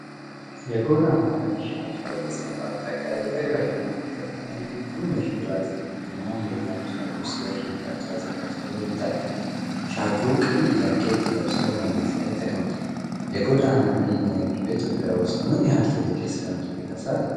የጎዳና ላይ ሻጭ በተሰነጣጠቀ የእግረኛ መንገድ ላይ ትንሽ ፕላስቲክ እና ሌላ ቁሳቁስ ለሽያጭ አዘጋጅቶ ያታያል። ሻጩ ቀይ ጃኬት ለብሶ መሬት ላይ ተቀምጧል። የጎዳና ላይ ንግድ በኢትዮጵያ ውስጥ ምን ያህል ትልቅ የሥራ ዕድል ይፈጥራል?